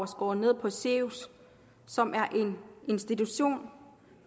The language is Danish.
skåret ned på sirius som er en institution